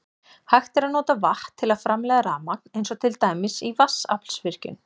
Hægt er að nota vatn til að framleiða rafmagn eins og til dæmis í vatnsaflsvirkjun.